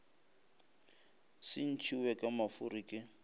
se ntšhiwe ka mafuri ke